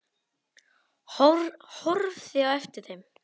Horfði á eftir þeim.